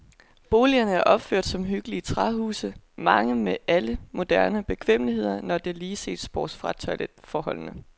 Boligerne er opført som hyggelige træhuse, mange med alle moderne bekvemmeligheder, når der lige ses bort fra toiletforholdene.